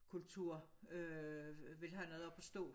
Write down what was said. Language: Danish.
Kultur øh vil have noget op at stå